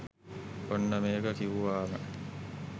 ඔන්න මේක කිවුවාම